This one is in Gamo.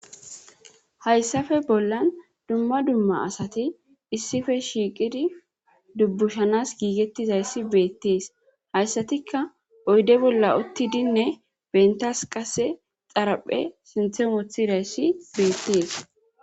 hayssafe bollan dumma dumma asati issife shiiqidi dubbushanas giigettizayssi beettees hayssatikka oyde bolla uttidinne bentas qase xaraphe sinthe muthidayssi beettees